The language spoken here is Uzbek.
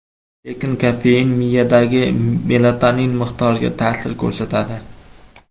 Lekin kofein miyadagi melatonin miqdoriga ta’sir ko‘rsatadi.